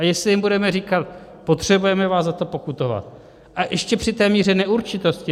A jestli jim budeme říkat "potřebujeme vás za to pokutovat", a ještě při té míře neurčitosti.